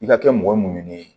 I ka kɛ mɔgɔ ye mun ɲinini